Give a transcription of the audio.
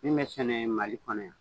Min bɛ sɛnɛ Mali kɔnɔ yan